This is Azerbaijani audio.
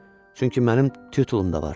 Çünki mənim titul da var.